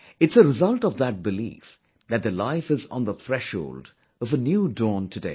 It's a result of that belief that their life is on the threshold of a new dawn today